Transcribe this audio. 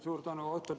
Suur tänu!